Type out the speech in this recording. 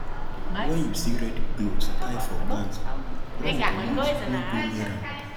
when you see red cloth tie for plant run comot no go near am